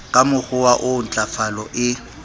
ka mokgowa oo ntlafalo e